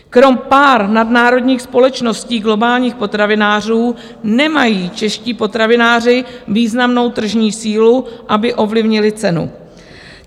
Kromě pár nadnárodních společností globálních potravinářů nemají čeští potravináři významnou tržní sílu, aby ovlivnili cenu.